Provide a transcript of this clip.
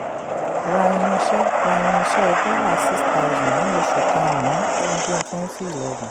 ra irinṣẹ́ ra irinṣẹ́ dollar six thousand ní oṣù karùn-ún ọdún twenty eleven.